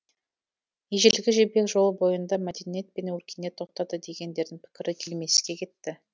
ежелгі жібек жолы бойында мәдениет пен өркениет тоқтады дегендердің пікірі келмеске кетті